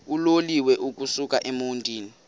uloliwe ukusuk emontini